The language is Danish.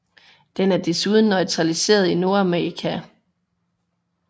Den er desuden naturaliseret i Nordamerika